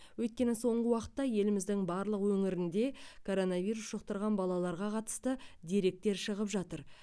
өйткені соңғы уақытта еліміздің барлық өңірінде коронавирус жұқтырған балаларға қатысты деректер шығып жатыр